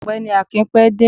ọgbẹni akín pé dẹ